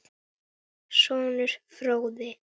Sonur: Fróði.